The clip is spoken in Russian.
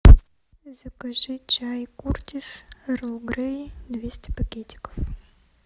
закажи чай куртис эрл грей двести пакетиков